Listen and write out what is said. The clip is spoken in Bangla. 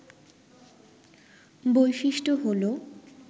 বৈশিষ্ট্য হল